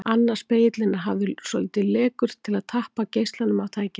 Annar spegillinn er hafður svolítið lekur til að tappa geislanum af tækinu.